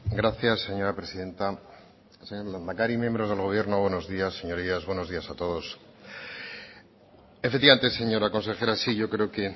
gracias señora presidenta señor lehendakari miembros del gobierno buenos días señorías buenos días a todos efectivamente señora consejera sí yo creo que